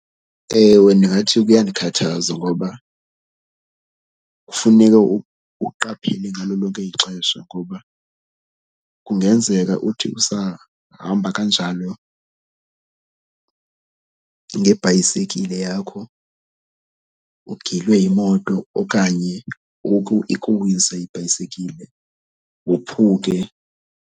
Ewe, ndingathi kuyandikhathaza ngoba kufuneka uqaphele ngalo lonke ixesha ngoba kungenzeka uthi usahamba kanjalo ngebhayisekile yakho ugilwe yimoto okanye ikuwise ibhayisekile wophuke.